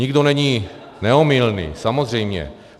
Nikdo není neomylný, samozřejmě.